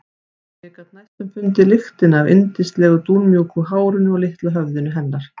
Ég gat næstum fundið lyktina af yndislegu dúnmjúku hárinu á litla höfðinu hennar.